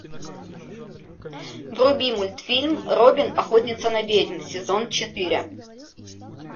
вруби мультфильм робин охотница на ведьм сезон четыре